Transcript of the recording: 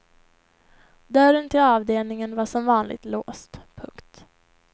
Dörren till avdelningen var som vanligt låst. punkt